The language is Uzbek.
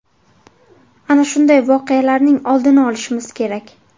Ana shunday voqealarning oldini olishimiz kerak”.